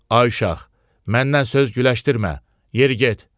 Ay uşaq, məndən söz güləşdirmə, yeri get.